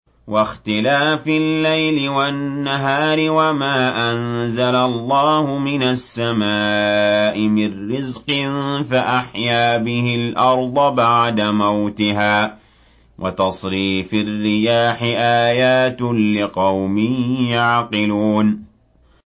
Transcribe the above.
وَاخْتِلَافِ اللَّيْلِ وَالنَّهَارِ وَمَا أَنزَلَ اللَّهُ مِنَ السَّمَاءِ مِن رِّزْقٍ فَأَحْيَا بِهِ الْأَرْضَ بَعْدَ مَوْتِهَا وَتَصْرِيفِ الرِّيَاحِ آيَاتٌ لِّقَوْمٍ يَعْقِلُونَ